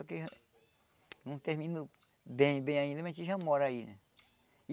Só que... não terminou bem, bem ainda, mas a gente já mora aí, né?